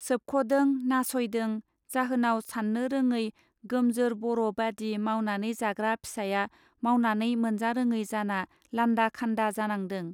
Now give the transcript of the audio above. सोबखदों नासयदों जाहोनाव साननो रोङै गोमजोर बर बादि मावनानै जाग्रा फिसाया मावनानै मोनजारोङै जाना लान्दा खान्दा जानांदों.